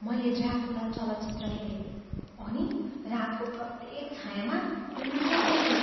मैले ड्राकुला चलचित्र हेरेँ अनि रातको प्रत्येक छायाँमा उनैलाई देखेँ।